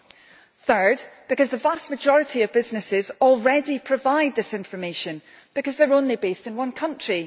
and thirdly, because the vast majority of businesses already provide this information because they are only based in one country.